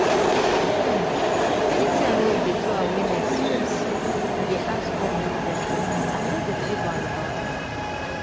um anytime wey we dey do awareness seriously i dey ask all health question and i no dey feel bad about am.